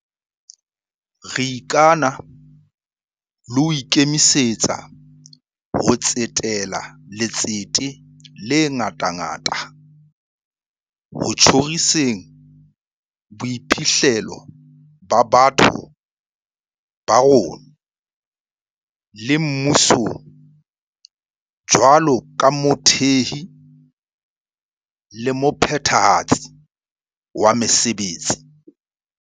Re ikana le ho ikemisetsa ho tsetela letsete le ngatangata ho tjhoriseng boiphihlelo ba batho ba rona, le mmusong jwalo ka mothehi le mophethahatsi wa mesebetsi.